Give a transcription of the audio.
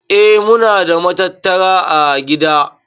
Eh muna da matattara ã gida.